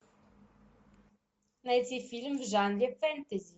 найти фильм в жанре фэнтези